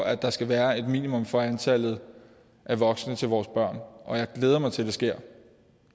at der skal være et minimum for antallet af voksne til vores børn og jeg glæder mig til det sker